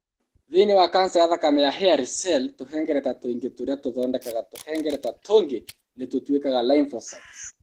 Thĩinĩ wa kanca ya thakame ya hairy cell, tũhengereta tuingĩ tũria tũthondekaga tũhengereta tũngĩ nĩ tũtwĩkaga lymphocytes.